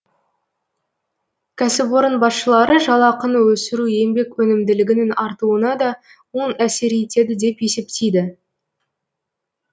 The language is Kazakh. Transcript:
кәсіпорын басшылары жалақыны өсіру еңбек өнімділігінің артуына да оң әсер етеді деп есептейді